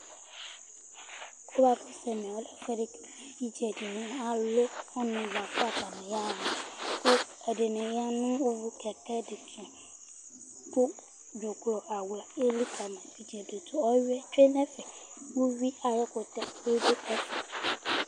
Ɛmɛlɛ ɛfʋɛdi kʋ evidze di ni alʋ ɔnu kʋ atani yaha kʋ ɛdiní ya nʋ kɛkɛ di tu kʋ dzuklɔ awla eli kama nʋ itsɛdi Ɔwʋiɛ tsʋe nʋ ɛfɛ Ʋwui kutɛ bi du ɛfɛ